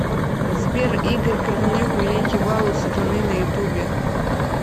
сбер игорь корнелюк великий бал у сатаны на ютубе